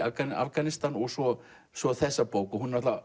Afganistan og svo svo þessa bók